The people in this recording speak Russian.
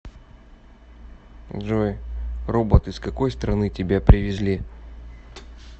джой робот из какой страны тебя привезли